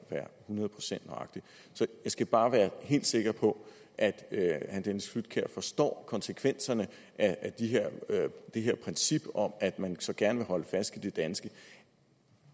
hundrede procent nøjagtig jeg skal bare være helt sikker på at herre dennis flydtkjær forstår konsekvenserne af det her princip om at man så gerne vil holde fast i det danske